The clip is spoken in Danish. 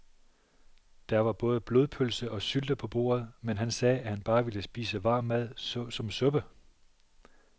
Der var både blodpølse og sylte på bordet, men han sagde, at han bare ville spise varm mad såsom suppe.